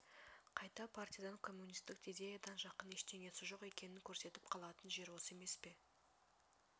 қайта партиядан коммунистік идеядан жақын ештеңесі жоқ екенін көрсетіп қалатын жер осы емес пе